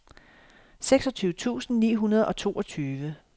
seksogtyve tusind ni hundrede og toogtyve